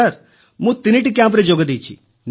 ସାର ମୁଁ 3ଟି କ୍ୟାମ୍ପରେ ଯୋଗଦେଇଛି